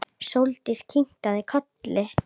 Sóldís kinkaði kolli.